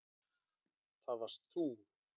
Það varst þú.